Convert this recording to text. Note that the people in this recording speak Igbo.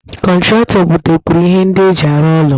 Kọntratọ butekwuru ihe ndị eji arụ ụlọ